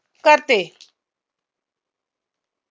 करते